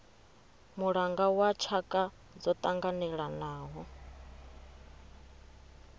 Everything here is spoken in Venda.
mulanga wa tshaka dzo tanganelanaho